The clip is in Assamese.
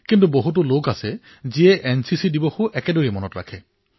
কিন্তু বহু লোক আছে যিয়ে এনচিচি দিৱসো ঠিক তেনেদৰেই মনত ৰাখে